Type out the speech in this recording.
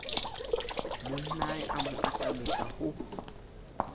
monnae a mo atametsa ho